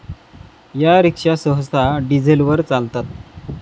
या रिक्षा सहसा डिझेलवर चालतात.